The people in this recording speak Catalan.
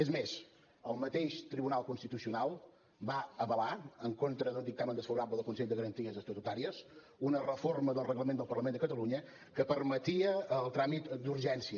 és més el mateix tribunal constitucional va avalar en contra d’un dictamen desfavorable del consell de garanties estatutàries una reforma del reglament del parlament de catalunya que permetia el tràmit d’urgència